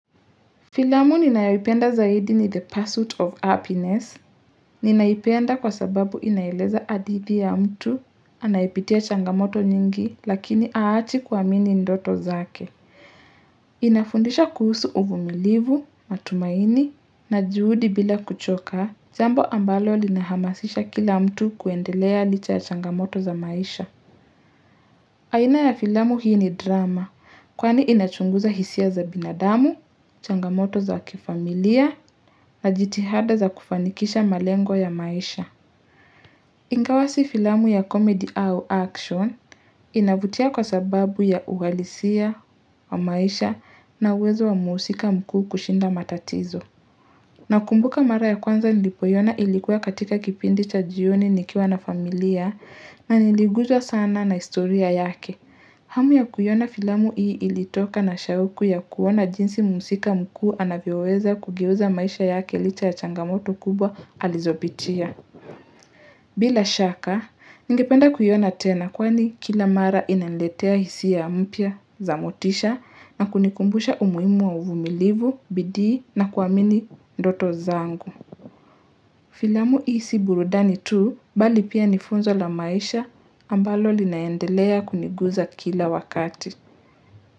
Filamu ninayoipenda zaidi ni the pursuit of happiness. Ninaipenda kwa sababu inaeleza adithi ya mtu, anayepitia changamoto nyingi, lakini haachi kuamini ndoto zake. Inafundisha kuhusu uvumilivu, matumaini, na juhudi bila kuchoka, jambo ambalo linahamasisha kila mtu kuendelea licha ya changamoto za maisha. Aina ya filamu hii ni drama kwani inachunguza hisia za binadamu, changamoto za kifamilia na jitihada za kufanikisha malengo ya maisha. Ingawa si filamu ya comedy au action inavutia kwa sababu ya uhalisia wa maisha na uwezo wa muusika mkuu kushinda matatizo. Nakumbuka mara ya kwanza nilipoiona ilikuwa katika kipindi cha jioni nikiwa na familia na niliguzwa sana na historia yake. Hamu ya kuiona filamu hii ilitoka na shauku ya kuona jinsi muusika mkuu anavyoweza kugeuza maisha yake licha ya changamoto kubwa alizooitia. Bila shaka, ningependa kuiona tena kwani kila mara inaniletea hisia mpya, za motisha na kunikumbusha umuimu wa uvumilivu, bidii na kuamini ndoto zangu. Filamu hii si burudani tu bali pia ni funzo la maisha ambalo linaendelea kuniguza kila wakati.